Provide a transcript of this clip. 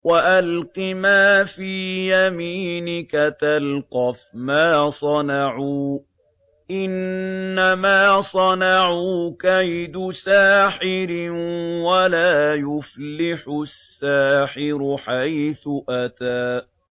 وَأَلْقِ مَا فِي يَمِينِكَ تَلْقَفْ مَا صَنَعُوا ۖ إِنَّمَا صَنَعُوا كَيْدُ سَاحِرٍ ۖ وَلَا يُفْلِحُ السَّاحِرُ حَيْثُ أَتَىٰ